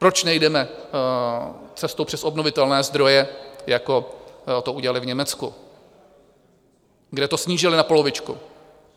Proč nejdeme cestou přes obnovitelné zdroje, jako to udělali v Německu, kde to snížili na polovičku?